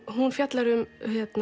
hún fjallar um